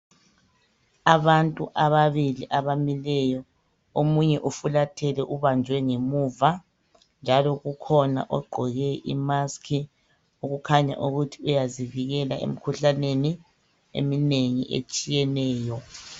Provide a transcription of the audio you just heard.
Abantu ababili abamileyo. Omunye ufulathele ubanjwe ngemuva njalo ukhona ogqoke imask okukhanya ukuthi uyazivikela emikhuhlaneni eminengi etshiyeneyo.